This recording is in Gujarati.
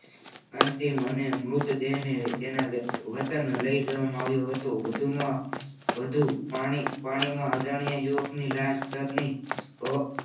અંતિમ અને મૃતદેહ અને તેના વતન એ લઈ જવા મા આવ્યું હતું. વધુમાં વધુ પાણીમાં અજાણ યુવક ની લાશ તરને